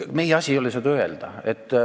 Meie asi ei ole seda öelda.